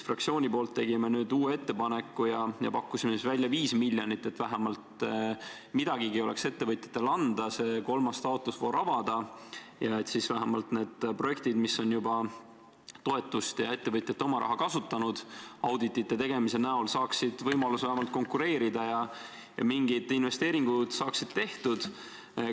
Fraktsiooni nimel tegime uue ettepaneku ja pakkusime välja 5 miljonit, et vähemalt midagigi oleks ettevõtjatele anda ning saaks kolmanda taotlusvooru avada, ning et vähemalt need projektid, millele on juba toetust ja ettevõtjate oma raha läinud, kui audit tehti, saaksid võimaluse konkureerida ja mingid investeeringud saaksid tehtud.